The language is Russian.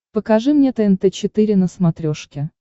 покажи мне тнт четыре на смотрешке